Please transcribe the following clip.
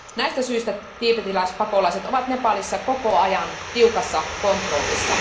Näistä syistä tiibetiläispakolaiset ovat Nepalissa koko ajan tiukassa kontrollissa.